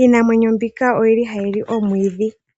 Iinamwenyo mbika oyili hayi li omwiidhi.